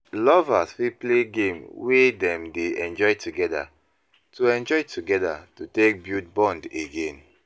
lovers fit play game wey dem dey enjoy together to enjoy together to take bulid bond again